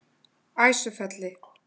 Æsufelli